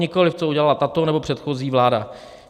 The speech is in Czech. Nikoli co udělala tato nebo předchozí vláda.